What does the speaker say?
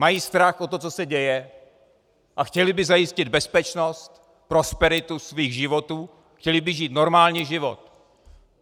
Mají strach o to, co se děje, a chtěli by zajistit bezpečnost, prosperitu svých životů, chtěli by žít normální život.